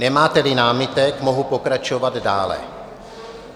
Nemáte-li námitek, mohu pokračovat dále.